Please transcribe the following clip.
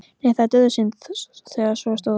Nei, það var dauðasynd þegar svo stóð á.